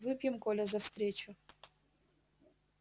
выпьем коля за встречу